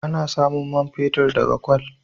Ana samun man fetur daga kwal.